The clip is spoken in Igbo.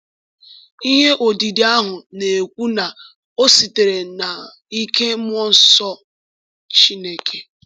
Ihe odide ahụ na-ekwu na ọ sitere n’ike mmụọ nsọ Chineke.